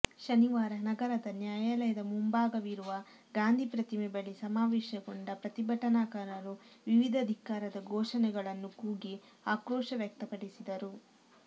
ಶನಿವಾರ ನಗರದ ನ್ಯಾಯಾಲಯದ ಮುಂಭಾಗವಿರುವ ಗಾಂಧಿ ಪ್ರತಿಮೆ ಬಳಿ ಸಮಾವೇಶಗೊಂಡ ಪ್ರತಿಭಟನಾಕಾರರು ವಿವಿಧ ಧಿಕ್ಕಾರದ ಘೋಷಣೆಗಳನ್ನು ಕೂಗಿ ಆಕ್ರೋಶ ವ್ಯಕ್ತಪಡಿಸಿದರು